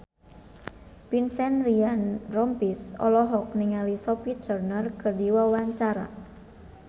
Vincent Ryan Rompies olohok ningali Sophie Turner keur diwawancara